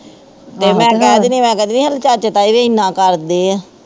ਜੇ ਮੈਂ ਕਹਿ ਦਿੰਦੀ ਹਾਂ, ਮੈਂ ਕਹਿ ਦਿੰਦੀ ਹਾਂ ਤੂੰ ਚਾਚੇ ਤਾਏ ਦੀ ਐਨਾ ਕਰਦੀ ਹੈਂ